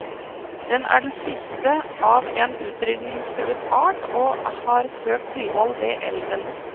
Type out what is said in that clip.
Den er den siste av en utrydninsgtruet art, og har søkt tilhold ved elven.